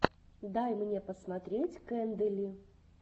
дай мне посмотреть кэндэли